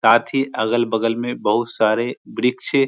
साथी अगल-बगल में बहोत सारे वृक्ष --